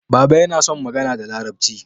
Baba yana son magana da larabci